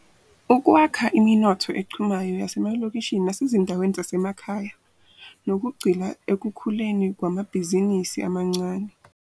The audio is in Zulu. .ukwakha iminotho echumayo yasemalokishini nasezinda weni zasemakhaya, nokugxila ekukhuleni kwamabhizinisi amancane.